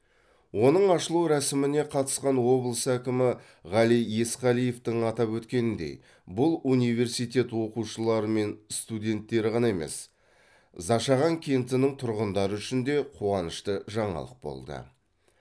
оның ашылу рәсіміне қатысқан облыс әкімі ғали есқалиевтің атап өткеніндей бұл университет оқушылары мен студенттері ғана емес зашаған кентінің тұрғындары үшін де қуанышты жаңалық болды